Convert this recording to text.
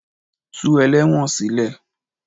Tú ẹlẹ́wọ̀n sílè.